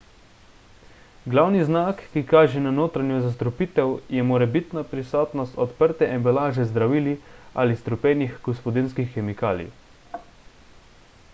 glavni znak ki kaže na notranjo zastrupitev je morebitna prisotnost odprte embalaže z zdravili ali strupenih gospodinjskih kemikalij